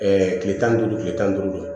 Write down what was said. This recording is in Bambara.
kile tan ni duuru kile tan ni duuru don